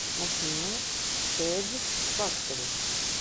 афина тэд фактори